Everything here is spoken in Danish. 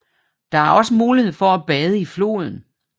Der er også mulighed for at bade i floden